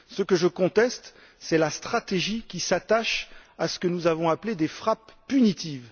Ce que je conteste, c'est la stratégie qui s'attache à ce que nous avons appelé des frappes punitives.